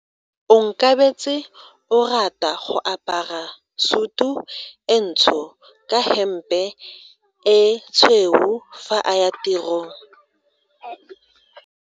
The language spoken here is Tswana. Onkabetse o rata go apara sutu e ntsho ka hempe e tshweu fa a ya tirong.